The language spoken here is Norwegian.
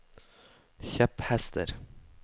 kjepphester